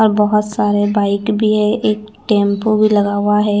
और बहत सारे बाइक भी है एक टेम्पो भी लगा हुआ है।